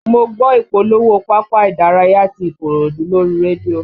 Mo gbọ́ ìpolówó pápá ìdárayá ti Ikorodu lórí rédíò